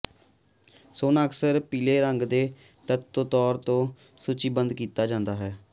ਸੋਨਾ ਅਕਸਰ ਪੀਲੇ ਰੰਗ ਦੇ ਤੱਤ ਦੇ ਤੌਰ ਤੇ ਸੂਚੀਬੱਧ ਕੀਤਾ ਜਾਂਦਾ ਹੈ